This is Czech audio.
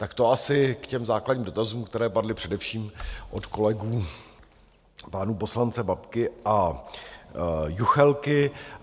Tak to asi k těm základním dotazům, které padly především od kolegů pánů poslance Babky a Juchelky.